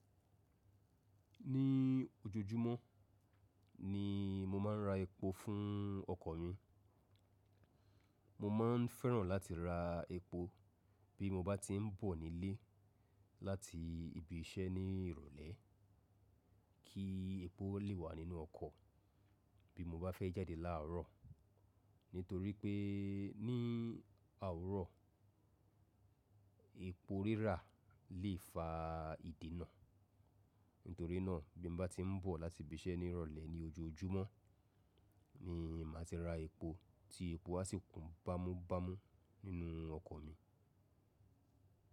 Ní ojoojúmọ́ ni mo máa ń ra epo fún ọkọ̀ mi. Mo ma ń fẹ́ràn láti ra epo bí mo bá tí ń bọ̀ nílé láti ibi iṣẹ́ ní ìrọ̀lẹ́ kí epo lè wà nínú ọkọ̀ bí mo bá fẹ́ jáde láàárọ̀. Nítorí pé ní owùrọ̀ epo rírà lè fa ìdènà. Nítorí náà bí mo bá tí ń bọ̀ láti ibi iṣẹ́ ní ìrọ̀lẹ́ ní ojoojúmọ́ ni màá ti ra epo tí epo á sì kún bámúbámú nínú ọkọ̀ mi.